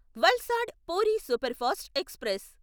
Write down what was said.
Valsad Puri superfast express